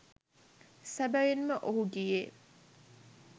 සැබැවින්ම ඔහු ගියේ